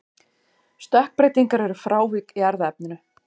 Stökkbreytingar eru frávik í erfðaefninu.